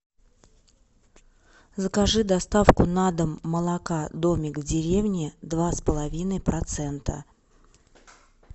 закажи доставку на дом молока домик в деревне два с половиной процента